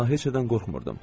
Daha heç nədən qorxmurdum.